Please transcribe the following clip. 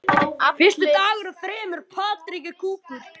Fyrsti dagur af þremur.